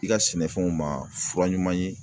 I ka sɛnɛfɛnw ma fura ɲuman ye